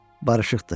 Barışıqdır,